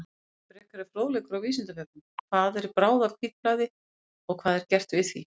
Frekari fróðleikur á Vísindavefnum: Hvað er bráðahvítblæði og hvað er gert við því?